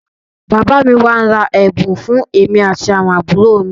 Bàbá mi máá ń ra ẹ̀bùn fún èmi àti àwọn àbúrò mi